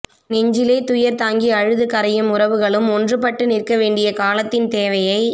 நெஞ்சிலே துயர் தாங்கி அழுது கரையும் உறவுகளும் ஒன்று பட்டு நிற்கவேண்டிய காலத்தின் தேவையை